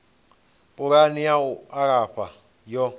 pulani ya u alafha yo